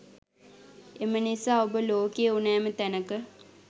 එම නිසා ඔබ ලෝකේ ඕනෑම තැනක